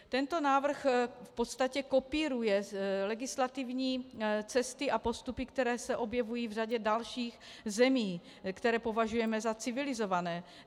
Tento návrh v podstatě kopíruje legislativní cesty a postupy, které se objevují v řadě dalších zemí, které považujeme za civilizované.